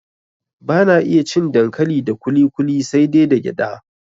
Bana iya cin dankali da kuli kuli sai dai da gyada